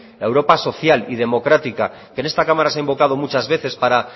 la europa social y democrática que en esta cámara se ha invocado muchas veces para